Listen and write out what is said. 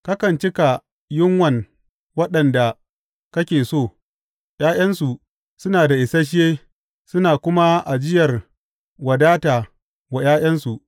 Kakan cika yunwan waɗanda kake so; ’ya’yansu suna da isashe suna kuma ajiyar wadata wa ’ya’yansu.